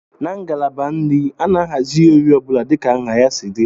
Na ngalaba nri, a na-ahazi ihe oriri ọ bụla dịka nha ha si dị